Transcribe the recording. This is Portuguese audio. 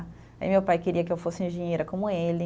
Aí meu pai queria que eu fosse engenheira como ele.